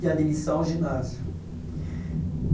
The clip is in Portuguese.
e a admissão ao ginásio.